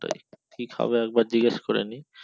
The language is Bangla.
কি খাবে একবার জিগেশ করেনি